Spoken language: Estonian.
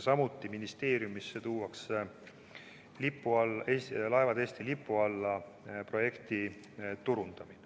Samuti tuuakse ministeeriumisse nn "Laevad Eesti lipu alla" projekti turundamine.